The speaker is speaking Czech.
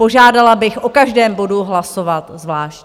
Požádala bych o každém bodu hlasovat zvlášť.